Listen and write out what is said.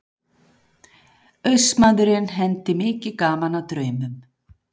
Austmaðurinn hendi mikið gaman að draumum.